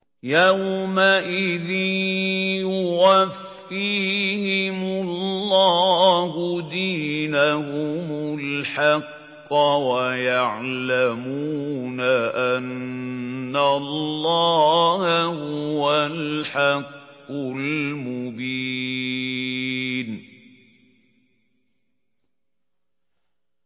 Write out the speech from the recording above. يَوْمَئِذٍ يُوَفِّيهِمُ اللَّهُ دِينَهُمُ الْحَقَّ وَيَعْلَمُونَ أَنَّ اللَّهَ هُوَ الْحَقُّ الْمُبِينُ